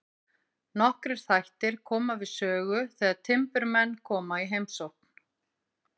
Nokkrir þættir koma við sögu þegar timburmenn koma í heimsókn.